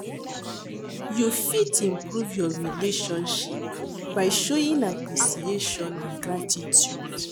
You fit improve your relationship by showing appreciation and gratitude.